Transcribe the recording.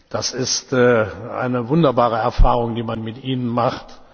Das ist eine wunderbare Erfahrung, die man mit Ihnen macht.